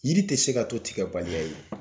Yiri tɛ se ka to tigɛbaliya ye.